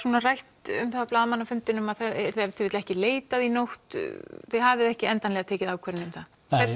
rætt um það á blaðamannafundinum að það yrði ef til vill ekki leitað í nótt þið hafið ekki endanlega tekið ákvörðun um það